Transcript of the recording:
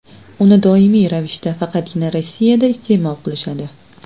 Uni doimiy ravishda faqatgina Rossiyada iste’mol qilishadi.